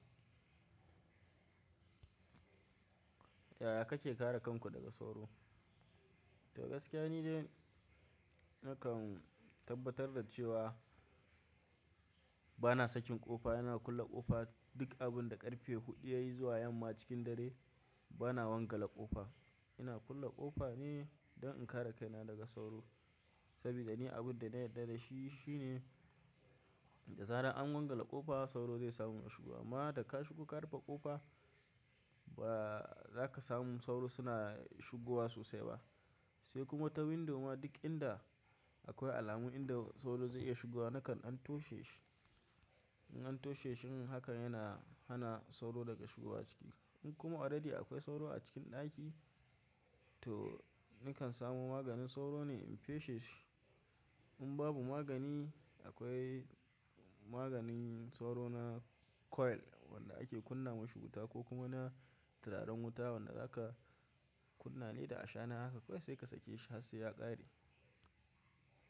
Yaya kake kare kanku daga sauro? To gaskiya ni dai nakan tabbatar da cewa bana sakin ƙofa, yana kulle ƙofa. Duk abin da ƙarfe huɗu yayi zuwa yamma cikin dare bana wangale ƙofa. Ina kulle ƙofa ne don in kare kaina daga sauro. Sabi da ni abinda na yadda dashi shine. Da zarar an wanga ƙofa sauro zai samu ya shigo amma da ka shigo ka rufe ƙofa ba za ka samu sauro suna shigowa sosai ba. Sai kuma ta window ma duk inda akwai alamu inda sauro zai iya shigowa nakan dan toshe shi. In an toshe shi yin haka yana hana sauro daga shigowa ciki. In kuma already akwai sauro a cikin ɗaki to nakan samo maganin sauro ne in peshe shi. In babu magani akwai maganin sauro na coil wanda ake kunna masu wuta ko kuma na turaren wuta wanda za ka kunna ne da ashana haka kawai sai ka sake shi har sai ya ƙare.